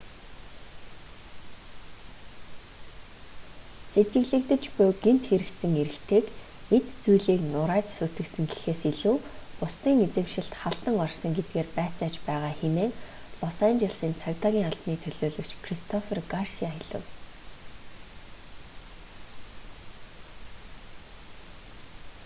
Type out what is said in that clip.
сэжиглэгдэж буй гэмт хэрэгтэн эрэгтэйг эд зүйлийг нурааж сүйтгэсэн гэхээс илүү бусдын эзэмшилд халдан орсон гэдгээр байцааж байгаа хэмээн лос анжелесийн цагдаагийн албаны төлөөлөгч кристофер гарсиа хэлэв